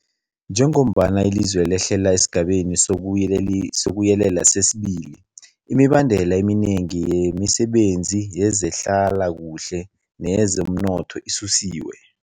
Njengombana ilizwe lehlela esiGabeni sokuYelela sesi-2, imibandela eminengi yemisebenzi yezehlalakuhle neyezomnotho isusiwe.